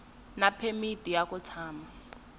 na phemiti ya ku tshama